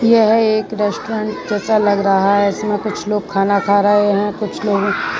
यह एक रेस्टोरेंट जैसा लग रहा है जिसमें कुछ लोग खाना खा रहे है कुछ लोग --